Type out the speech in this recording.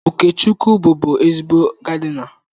Okechukwu bụbu ezigbo gaadịna.